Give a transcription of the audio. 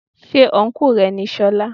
Ṣé ọ́nkù rẹ ni solá.?